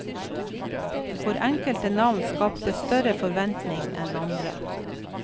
For enkelte navn skapte større forventning enn andre.